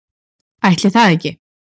Ætli það ekki.